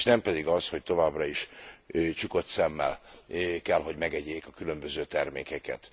És nem pedig az, hogy továbbra is csukott szemmel kell, hogy megegyék a különböző termékeket.